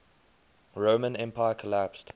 roman empire collapsed